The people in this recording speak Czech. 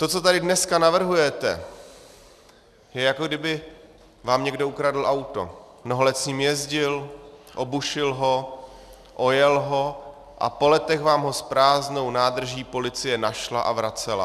To, co tady dneska navrhujete, je, jako kdyby vám někdo ukradl auto, mnoho let s ním jezdil, obušil ho, ojel ho a po letech vám ho s prázdnou nádrží policie našla a vracela.